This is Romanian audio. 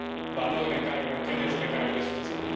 valorile în care noi credem și pe care le susținem.